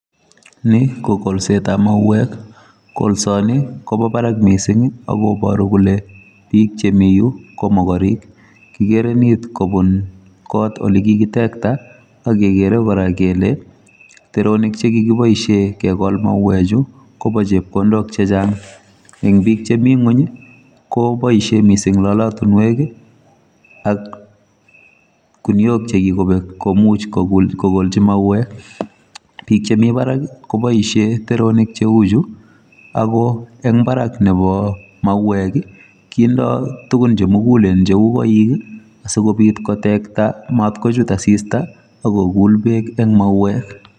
Ni ko kolsetab mauek. Kolsani, kobo barak missing akoburo kole biik che mi yu, ko mokorek. Kikere nit kobun kot ole kikitekta, ak kegere kora kele teronik che kikiboisie kegol mauek chu, kobo chepkondok chechang'. Eng' biik che mi ng'uny, koboisie missing lolotunwek, ak guniok che kikobek, komuch um kogolchi mauek. biik che mi barak, koboisie teronik cheu chu, ago eng' barak nebo mauek, kindoi tugun che mugulen cheu koik, asikobit kotekta matkochut asista, akogul beek eng' mauek.